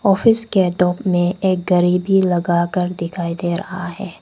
Office के top में एक घरी भी लगा कर दिखाई दे रहा है।